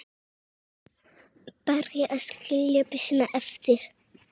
Varð að skilja byssuna eftir.